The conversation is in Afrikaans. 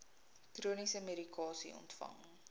chroniese medikasie ontvang